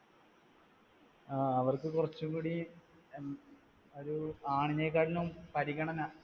ആ. അവർക്കു കുറച്ചു കൂടി ഒരു ആണിനെക്കാട്ടിലും പരിഗണന